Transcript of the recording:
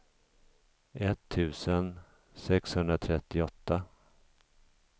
etttusen sexhundratrettioåtta